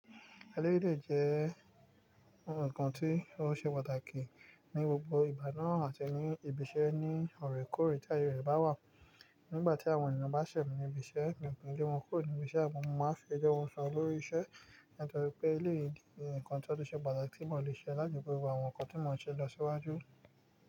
Eleyi si jẹ́ ohun kan tí ó ṣe pàtàkì ní gbogbo ìgbàná àti ní ibi iṣẹ́ ní ọ̀rekore tí ayé rẹ̀ bá wà. Nígbà tí àwọn ènìyàn bá ṣẹ̀ mi ní ibi iṣẹ́, mi nki le won kúrò ní ibi iṣẹ́ àmọ̀, mo máa ń fi ẹjọ́ wọn sun olórí iṣẹ́. Nítorí pé èléyì ni nkan tí ó tun ṣe pàtàkì tí ìmọ̀ lè ṣe láti fi gbé gbogbo àwọn nǹkan tí ìmọ̀ ṣe lọ síwájú.